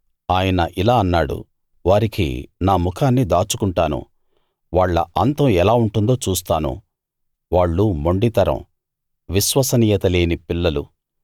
ఆయనిలా అన్నాడు వారికి నా ముఖాన్ని దాచు కుంటాను వాళ్ళ అంతం ఎలా ఉంటుందో చూస్తాను వాళ్ళు మొండి తరం విశ్వసనీయత లేని పిల్లలు